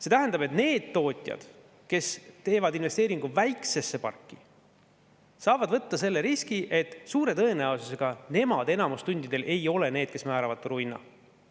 See tähendab, et need tootjad, kes teevad investeeringu väiksesse parki, saavad võtta selle riski, et suure tõenäosusega nad enamikul tundidel ei ole need, kes määravad turuhinna.